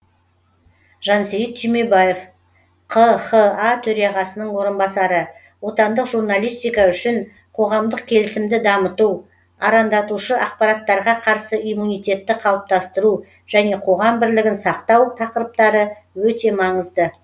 жансейіт түймебаев қха төрағасының орынбасары отандық журналистика үшін қоғамдық келісімді дамыту арандатушы ақпараттарға қарсы иммунитетті қалыптастыру және қоғам бірлігін сақтау тақырыптары өте маңызды